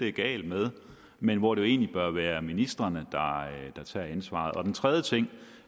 er galt med men hvor det jo egentlig bør være ministrene der tager ansvaret den tredje ting